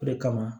O de kama